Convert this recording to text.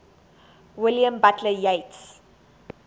william butler yeats